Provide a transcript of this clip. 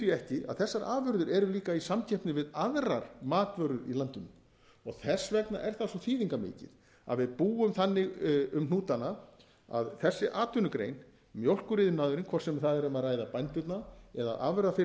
því ekki að þessar afurðir eru líka í samkeppni á aðrar matvörur í landinu og þess vegna er það svo þýðingarmikið að við búum þannig um hnútana að þessi atvinnugrein mjólkuriðnaðurinn hvort sem það er um að ræða bændanna eða